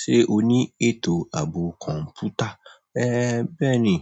Ṣé o ní ètò ààbò kọ̀ǹpútà? Ée bẹ́ẹ̀ni,